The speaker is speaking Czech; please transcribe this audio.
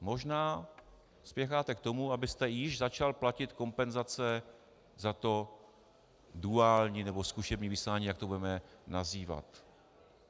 Možná spěcháte k tomu, abyste již začal platit kompenzace za to duální, nebo zkušební vysílání, jak to budeme nazývat.